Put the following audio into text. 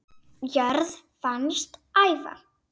jörð fannst æva